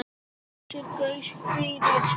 Geysir gaus fyrir Svíana.